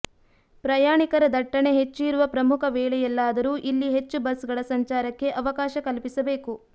ಪ್ರಯಾಣಿಕರ ದಟ್ಟಣೆ ಹೆಚ್ಚು ಇರುವ ಪ್ರಮುಖ ವೇಳೆಯಲ್ಲಾದರೂ ಇಲ್ಲಿ ಹೆಚ್ಚು ಬಸ್ಗಳ ಸಂಚಾರಕ್ಕೆ ಅವಕಾಶ ಕಲ್ಪಿಸಬೇಕು